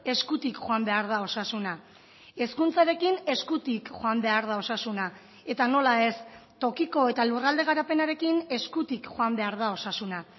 eskutik joan behar da osasuna hezkuntzarekin eskutik joan behar da osasuna eta nola ez tokiko eta lurralde garapenarekin eskutik joan behar da osasuna